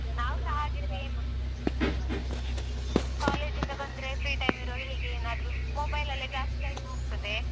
ನಾವ್ಸ ಹಾಗೇ same college ಇಂದ ಬಂದ್ರೆ free time ಇರುವಾಗ ಹೀಗೇ ಏನಾದ್ರೂ mobile ಲಲ್ಲೇ ಜಾಸ್ತಿ time ಹೋಗ್ತದೆ.